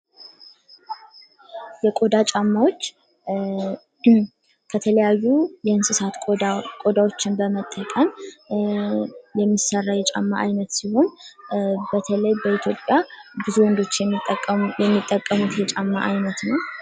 የቆዳ ጫማዎች ከተለያዩ የእንስሳት ቆዳዎችን በመጠቀም የሚሰራ የጫማ ዓይነት ሲሆን በተለይ በኢትዮጵያ ብዙ ወንዶች የሚጠቀሙ የሚጠቀሙት የጫማ አይነት ነው።